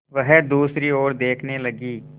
वह दूसरी ओर देखने लगी